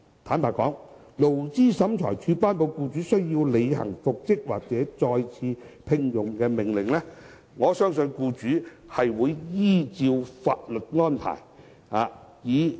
坦白說，在勞審處頒令僱員獲得復職或再次聘用後，我相信僱主會依法作出安排。